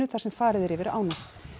þar sem farið er yfir ána